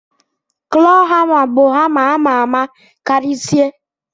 klọ hama bu hama amama karisie.